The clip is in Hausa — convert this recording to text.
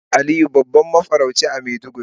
An sanar da Aliyu babban mafarauci a maiduguri.